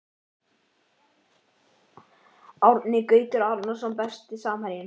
Árni Gautur Arason Besti samherjinn?